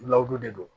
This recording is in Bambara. Lawdo de don